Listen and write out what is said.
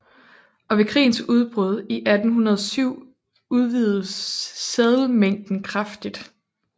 Og ved krigens udbrud i 1807 udvidedes seddelmængden kraftigt